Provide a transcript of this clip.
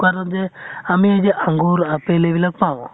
দোকানত যে আমি এই যে আঙ্গুৰ, apple এইবিলাক পাওঁ